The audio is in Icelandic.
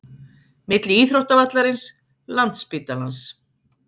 Milli íþróttavallarins, landsspítalans